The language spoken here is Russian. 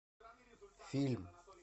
фильм